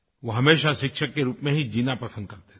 वो हमेशा शिक्षक के रूप में ही जीना पसंद करते थे